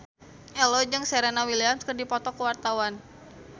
Ello jeung Serena Williams keur dipoto ku wartawan